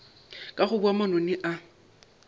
ka go boga manoni a